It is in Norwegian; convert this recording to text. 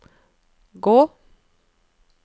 gå